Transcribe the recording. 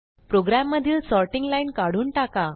प्रोग्रॅममधील sorting line काढून टाका